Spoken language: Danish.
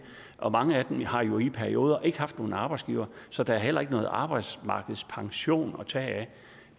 mange af dem har jo i perioder ikke haft nogen arbejdsgiver så der er heller ikke nogen arbejdsmarkedspension at tage af og